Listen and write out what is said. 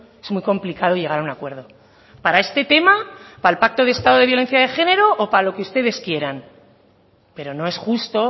es muy complicado llegar a un acuerdo para este tema para el pacto de estado de violencia de género o para lo que ustedes quieran pero no es justo